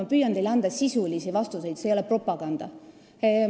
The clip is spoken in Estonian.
Ma püüan teile anda sisulisi vastuseid, see ei ole propaganda.